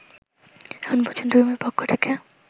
এখন পর্যন্ত রুমির পক্ষ থেকে